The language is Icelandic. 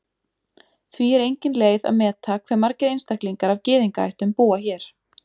Því er engin leið að meta hve margir einstaklingar af Gyðingaættum búa hér.